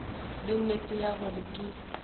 le nnete ya gore ke